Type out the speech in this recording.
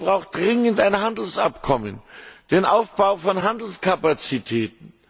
Kosovo braucht dringend ein Handelsabkommen, den Aufbau von Handelskapazitäten.